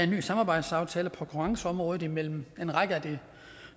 ny samarbejdsaftale på konkurrenceområdet imellem en række af de